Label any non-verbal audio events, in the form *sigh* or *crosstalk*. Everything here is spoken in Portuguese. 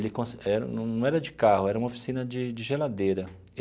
Ele *unintelligible* era num era de carro, era uma oficina de de geladeira.